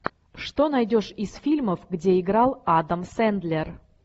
что найдешь из фильмов где играл адам сэндлер